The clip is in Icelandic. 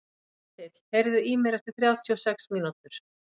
Ketill, heyrðu í mér eftir þrjátíu og sex mínútur.